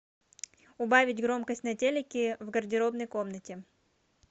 убавить громкость на телике в гардеробной комнате